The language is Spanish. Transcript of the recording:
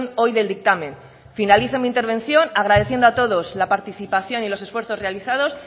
hoy del dictamen finalizo mi intervención agradeciendo a todos la participación y los esfuerzos realizados